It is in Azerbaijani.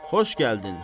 Xoş gəldin!